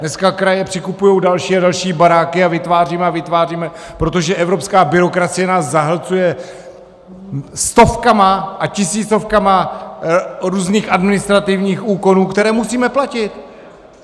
Dneska kraje přikupují další a další baráky a vytváříme a vytváříme, protože evropská byrokracie nás zahlcuje stovkama a tisícovkama různých administrativních úkonů, které musíme platit.